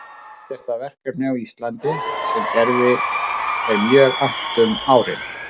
Eitt er það verkefni á Íslandi sem Gerði er mjög annt um árin